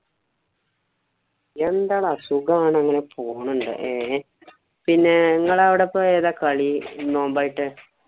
എന്താടാ സുഗാണ്. ഇങ്ങനെ പോണോണ്ട് ഏ. പിന്നെ ഇങ്ങളെ അവിടെ ഇപ്പൊ ഏതാ കളി നോമ്പായിട്ട്?